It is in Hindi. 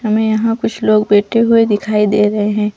हमे यहाँ कुछ लोग बैठे हुए दिखाई दे रहे है।